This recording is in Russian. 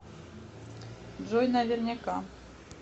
джой наверняка